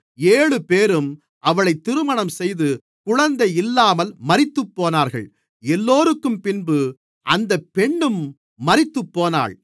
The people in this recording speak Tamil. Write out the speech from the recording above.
ஏழுபேரும் அவளைத் திருமணம்செய்து குழந்தை இல்லாமல் மரித்துப்போனார்கள் எல்லோருக்கும்பின்பு அந்தப் பெண்ணும் மரித்துப்போனாள்